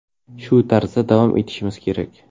Shu tarzda davom etishimiz kerak.